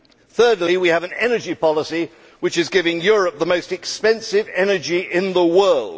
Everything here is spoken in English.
Thirdly, we have an energy policy which is giving Europe the most expensive energy in the world.